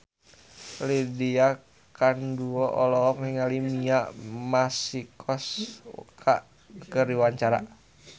Lydia Kandou olohok ningali Mia Masikowska keur diwawancara